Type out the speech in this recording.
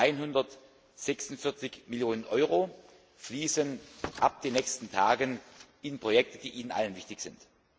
146 Millionen Euro fließen ab den nächsten Tagen in Projekte, die Ihnen allen wichtig sind.